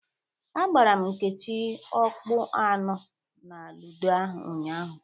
Agbara m Nkechi ọkpụ anọ na ludo ụnyaahụ.